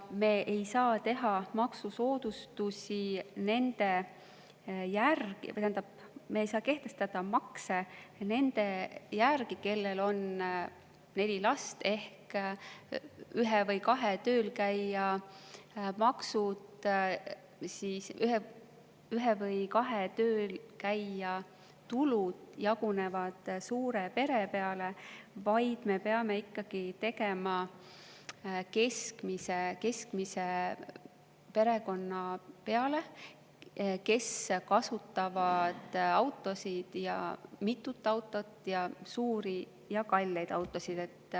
Me ei saa kehtestada makse nende järgi, kellel on neli last ning ühe või kahe töölkäija tulud jagunevad suure pere peale, vaid me peame ikkagi tegema seda keskmise perekonna järgi, kes kasutab autot või mitut autot, suuri ja kalleid autosid.